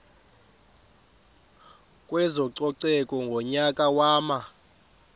kwezococeko ngonyaka wama